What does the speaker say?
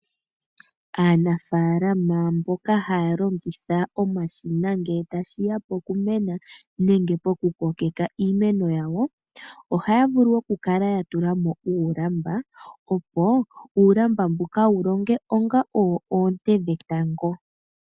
Aanafaalama mboka haya longitha omashina ngele tashiya oukumena nenge pokukokeka iimeno yawo ohaya vulu okukala ya tula mo uulamba opo uulamba mbuka wu longe onga owo oonte dhetango.